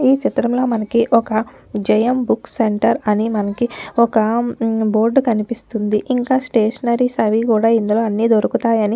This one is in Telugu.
ఈ చిత్రంలో మనకి ఒక్క జయం బుక్స్ సెంటర్ అని మనకి ఒక్క బోర్డు కనిపిస్తుందిఇంక స్టేషనరీస్ అవి కూడా ఇందులో అన్ని దొరుకుతాయని --